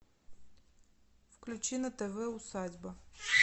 включи на тв усадьба